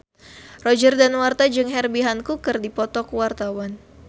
Roger Danuarta jeung Herbie Hancock keur dipoto ku wartawan